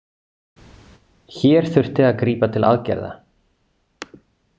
Hér þurfti að grípa til aðgerða.